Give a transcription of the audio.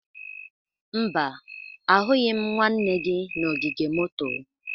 Mba, ahụghị m nwanne gị n'ogige moto.